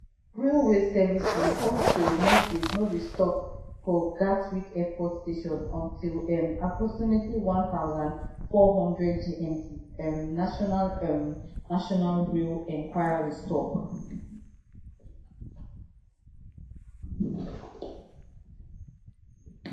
railway services also no dey stop for gatwick airport station until um approximately one thousand, four hundred gmt um national um national rail enquiries tok